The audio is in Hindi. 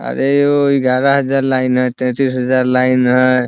अरे ओ ग्यारह हज़ार लाइन है तैंतीस हज़ार लाइन है।